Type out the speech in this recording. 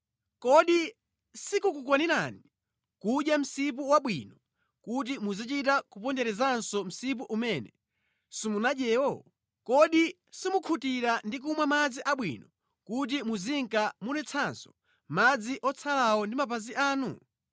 Kodi sikukukwanirani kudya msipu wabwino kuti muzichita kuponderezanso msipu umene simunadyewo? Kodi simukhutira ndi kumwa madzi abwino kuti muzinka mudetsanso madzi otsalawo ndi mapazi anu?